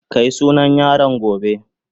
Ka yi sunan yaron gobe.